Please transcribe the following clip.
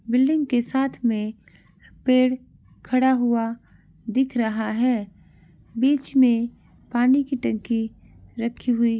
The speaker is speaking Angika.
बिल्डिंग के साथ में पेड़ खड़ा हुआ दिख रहा है बीच में पानी की टंकी रखी हुई --